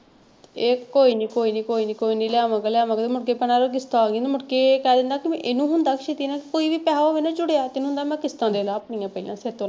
ਇਹ ਕੋਈ ਨੀ ਕੋਈ ਨੀ ਕੋਈ ਨੀ ਲੈ ਆਵਾਂਗਾ ਲੈ ਆਵਾਂਗਾ ਤੇ ਮੁੜਕੇ ਕਿਸ਼ਤ ਆਗੀ ਮੁੜਕੇ ਇਹ ਕਹਿ ਦਿੰਦਾ ਕਿ ਇਹਨੂੰ ਹੁੰਦਾ ਕਿ ਕੋਈ ਵੀ ਪੈਸੇ ਹੋਵੇ ਨਾ ਜੁੜਿਆ ਤੇ ਇਹਨੂੰ ਹੁੰਦਾ ਮੈਂ ਕਿਸਤਾਂ ਦੇਦਾਂ ਆਪਣੀਆਂ ਪਹਿਲਾਂ ਸਿਰ ਤੋਂ।